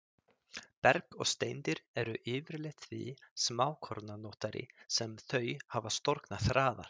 Berg og steindir eru yfirleitt því smákornóttari sem þau hafa storknað hraðar.